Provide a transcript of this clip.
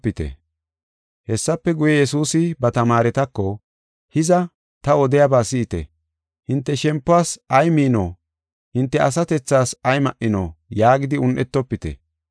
Hessafe guye, Yesuusi ba tamaaretako, “Hiza, ta odiyaba si7ite, hinte shempuwas ay miino? Hinte asatethaas ay ma7ino? yaagidi un7etofite.